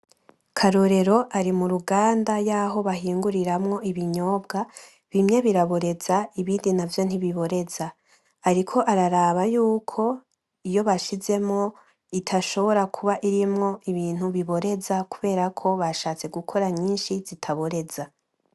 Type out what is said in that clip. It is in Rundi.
Karorero ari muruganda yaho bahinguramwo ibinyobwa , bimwe biraboreza ibindi navyo ntibtibiboreza. Ariko ara raba yuko iyo bashizemwo itashobora kuba irimwo ibintu biboreza kubera ko batashatse gukora nyinshi zitaboreza .